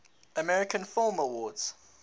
american film awards